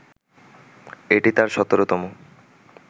এটি তার ১৭তম